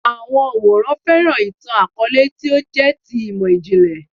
Àwọn òǹwòran fẹ́ràn ìtàn-àkọọ́lẹ̀ tí ó jẹ́ ti imọ-jinlẹ